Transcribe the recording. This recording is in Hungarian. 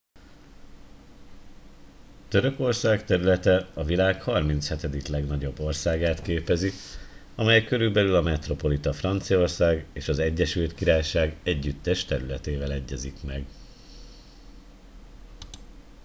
törökország területe a világ 37. legnagyobb országát képezi amely körülbelül a metropolita franciaország és az egyesült királyság együttes területével egyezik meg